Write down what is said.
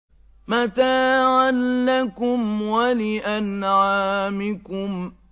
مَّتَاعًا لَّكُمْ وَلِأَنْعَامِكُمْ